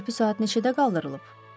Körpü saat neçədə qaldırılıb?